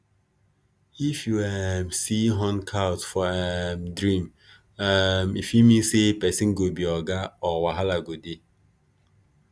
if you um see horned cows for um dream um e fit mean say person go be oga or wahala go dey